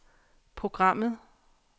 programmet